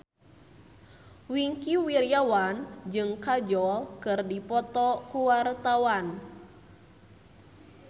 Wingky Wiryawan jeung Kajol keur dipoto ku wartawan